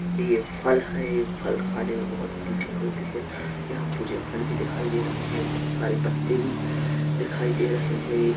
यह फल है यह फल खाने मै बहोत मीठे होते है यहाँ मुझे फल भी दिखाई दे रहे है और बहोत सारे पत्ते भी दिखाई दे रहे है एक--